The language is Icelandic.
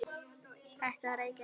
Hættið að reykja!